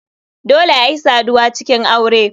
Dole ayi saduwa a cikin aure.